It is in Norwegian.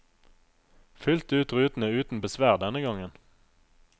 Fylte ut rutene uten besvær denne gangen.